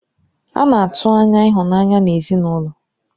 A na-atụ anya ịhụnanya n'ezinụlọ.